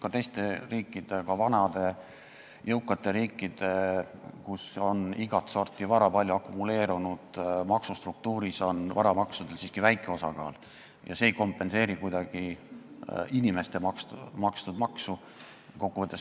Ka teistes riikides, ka vanades jõukates riikides, kus on igat sorti vara palju akumuleerunud, on varamaksudel maksustruktuuris siiski väike osakaal ja see ei kompenseeri kuidagi inimeste makstud teisi makse.